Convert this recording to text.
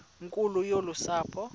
nkulu yolu sapho